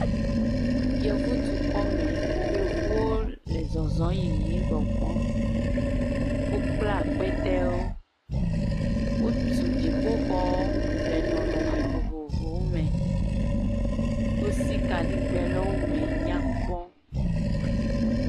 yevu dukɔ me yevuwo le zɔzɔm yiyim gbɔgbɔm wó kpla kpɛtɛwo wotu dziƒoxɔ le nɔnɔmɛ vovovowo mɛ wosi kaɖigbɛ ɖe wó ŋu eme nyakpɔ